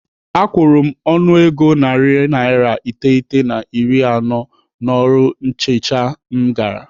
Akwụrụ m ọnụego narị naira iteghete na iri anọ n'ọrụ nchicha m gara.